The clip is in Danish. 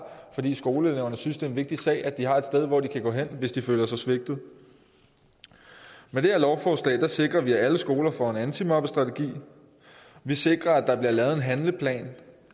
fordi skoleeleverne synes det er en vigtig sag at de har et sted hvor de kan gå hen hvis de føler sig svigtet men det her lovforslag sikrer vi at alle skoler får en antimobningsstrategi vi sikrer at der bliver lavet en handleplan